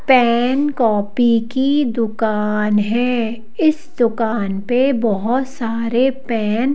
pen copy की दुकान है इस दुकान पे बहुत सारे पेन --